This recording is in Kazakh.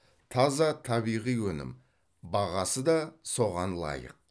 таза табиғи өнім бағасы да соған лайық